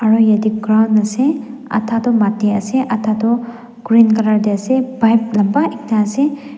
aru yate ground ase ada toh mati ase ada toh green colour te ase pipe lamba ekta ase.